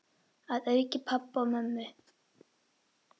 Að auki pabba og mömmu.